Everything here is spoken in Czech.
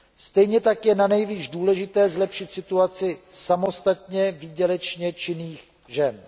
Stejně tak je nanejvýš důležité zlepšit situaci samostatně výdělečně činných žen.